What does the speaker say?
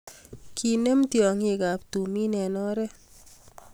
kenem tyongikab tumin eng oret